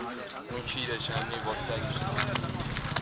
Şübhədədir, kimsəni batacaq.